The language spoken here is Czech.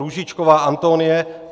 Růžičková Antonie